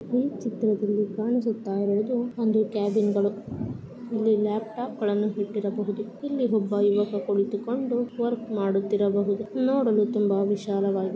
ಇಲ್ಲಿ ನಾವು ಏನು ನೋಡ್ತಾ ಇದ್ದೀರಿ ಅಂದ್ರೆ ಇಲ್ಲಿ ಹುಡುಗ ನೀರು ಕಡೆ ಎಲ್ಲಾ ಬ್ರಿಡ್ಜ್ ಮೇಲೆ ನಿಂತುಕೊಂಡು ಅಲ್ಲಿ ಫೋಟೋಸ್ ಹೇಳ್ತೀರೋದು ಅಂತ ನೋಡಬಹುದು